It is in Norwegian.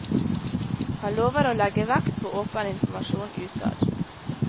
Han lover å legge vekt på åpen informasjon utad.